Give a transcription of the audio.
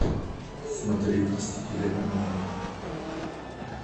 смотреть мстители онлайн